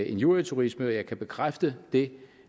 injurieturisme jeg kan bekræfte det